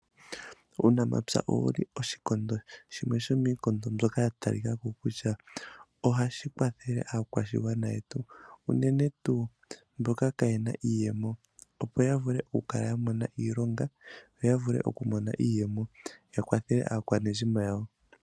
Uunamapya owuli oshikondo shimwe shomiikondo mbyoka ya talikako kutya, ohashi kwathele aakwashigwana yetu unene tuu mboka tayeeta iiyemo, opo ya vule oku kala ya mona iilonga noya vule oku mona iiyemo ya kwathele aakwanezimo yawo.